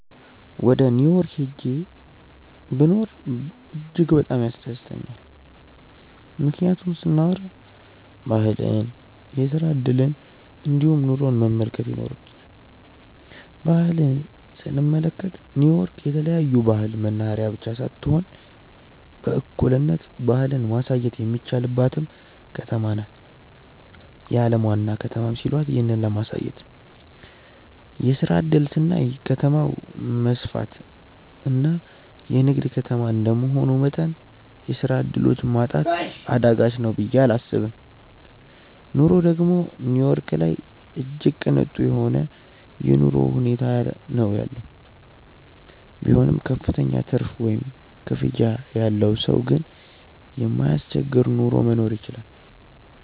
ወደ ኒው ዮርክ ሂጄ ብኖር እጅግ በጣም ያስደስተኛል። ምክንያቱን ስናዎራ ባህልን፣ የስራ እድልን እንዲሁም ኑሮን መመልከት ይኖርብኛል። ባህል ስንመለከት ኒው ዮርክ የተለያዮ ባህል መናህሬያ ብቻ ሳትሆን በእኩልነት ባህልን ማሳየትም የሚቻልባትም ከተማ ናት። የአለም ዋና ከተማም ሲሏት ይህንን ለማሳየት ነው። የስራ እድል ስናይ ከተማው መስፍትና የንግድ ከተማ እንደመሆኑ መጠን የስራ ዕድሎች ማጣት አዳጋች ነው ብየ እላስብም። ኑሮ ደግም ኒው ዮርክ ላይ እጅግ ቅንጡ የሆነ የኑሮ ሁኔታ ነው ያለው። ቢሆንም ክፍተኛ ትርፍ ወይም ክፍያ ያለው ሰው ግን የማያስቸግር ኑሮ መኖር ይችላል።